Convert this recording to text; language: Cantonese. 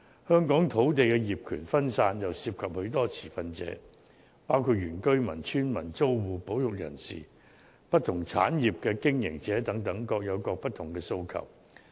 香港土地業權分散，又涉及許多持份者，包括原居民、村民、租戶、保育人士及不同產業的經營者等，各有不同的訴求。